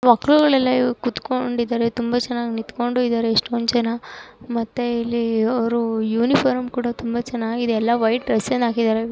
ಮಕ್ಕಳು ಇಲ್ಲೆಲ್ಲ ಕುತ್ಕೊಂಡಿದ್ದಾರೆ ತುಂಬಾ ಜನ ನಿಂತ್ಕೊಂಡು ಇದ್ದಾರೆ ಎಷ್ಟೊಂದ್ ಜನ ಮತ್ತೆ ಇಲ್ಲಿ ಅವರು ಯೂನಿಫಾರ್ಮ್ ಕೂಡ ತುಂಬಾ ಚೆನ್ನಾಗಿದೆ ಎಲ್ಲಾ ವೈಟ್ ಡ್ರೆಸ್ ಅನ್ನ ಹಾಕಿದರೆ.